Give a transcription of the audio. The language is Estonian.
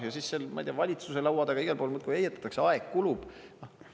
Ja siis, ma ei tea, valitsuse laua taga, igal pool muudkui heietatakse, aeg kulub.